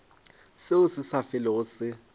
seo se sa felego se